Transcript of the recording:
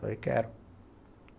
Falei, quero.